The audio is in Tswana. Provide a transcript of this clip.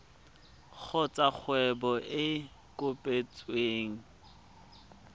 kgotsa kgwebo e e kopetsweng